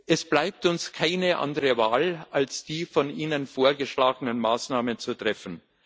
Es bleibt uns keine andere Wahl, als die von Ihnen vorgeschlagenen Maßnahmen zu treffen.